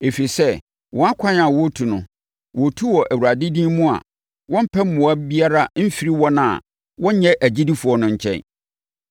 Ɛfiri sɛ, wɔn kwan a wɔretu no, wɔretu wɔ Awurade din mu a wɔmpɛ mmoa biara mfiri wɔn a wɔnyɛ agyidifoɔ no nkyɛn.